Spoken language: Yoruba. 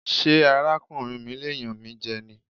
Ṣé ara kùnrin mi lè yàn mí jẹ ní?